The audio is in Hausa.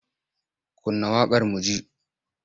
Kunna waƙar mu ji!